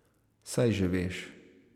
Saj že veš ...